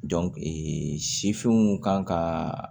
sifinw kan ka